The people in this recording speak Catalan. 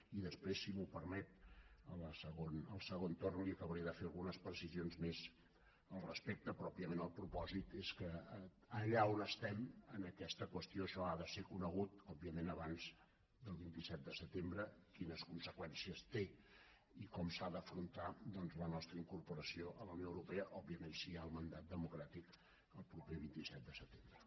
i després si m’ho permet al segon torn li acabaré de fer algunes precisions més al respecte però òbviament el propòsit és que allà on estem en aquesta qüestió això ha de ser conegut abans del vint set de setembre quines conseqüències té i com s’ha d’afrontar doncs la nostra incorporació a la unió europea òbviament si hi ha el mandat democràtic el proper vint set de setembre